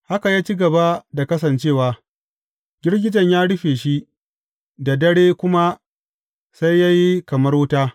Haka ya ci gaba da kasancewa; girgijen ya rufe shi, da dare kuma sai ya yi kamar wuta.